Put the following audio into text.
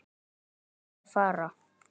Vildi ég fara?